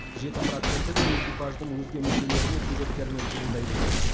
жеті проценті де экипаждың өзге мүшелерінің себептерінен туындайды екен